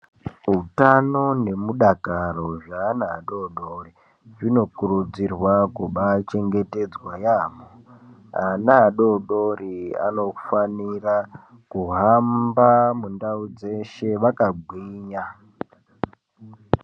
Utano nemudakaro zveana adoodori, zvinokurudzirwa kubaachengetedzwa yaamho. Ana adoodori anofanira kuhamba mundau dzeshe, vakagwinya.